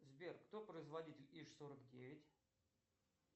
сбер кто производитель иж сорок девять